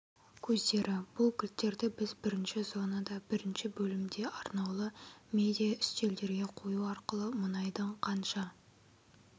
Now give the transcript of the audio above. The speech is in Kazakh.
көздері бұл кілттерді біз бірінші зонада бірінші бөлімде арнаулы медиа үстелдерге қою арқылы мұнайдың қанша